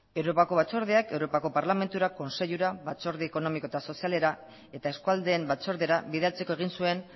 europako batzordeak europako parlamentura kontseilura batzorde ekonomiko eta sozialera eta eskualdeen batzordera bidaltzeko egin zuen